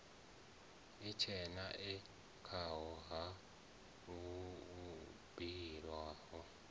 itshena e khao ha buliwa